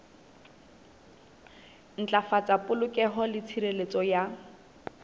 ntlafatsa polokeho le tshireletso ya